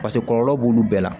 Paseke kɔlɔlɔ b'olu bɛɛ la